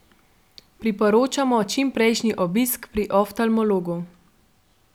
Priporočamo čimprejšnji obisk pri oftalmologu.